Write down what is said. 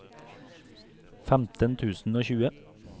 femten tusen og tjue